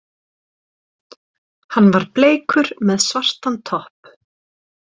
Hann var bleikur með svartan topp.